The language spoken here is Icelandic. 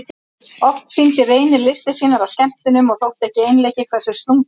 Oft sýndi Reynir listir sínar á skemmtunum og þótti ekki einleikið hversu slunginn hann var.